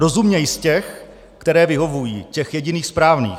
Rozuměj z těch, které vyhovují, těch jediných správných.